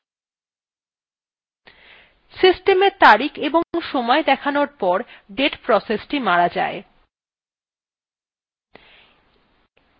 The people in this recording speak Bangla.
system এর তারিখ এবং সময় দেখানোর পর date process মারা যায়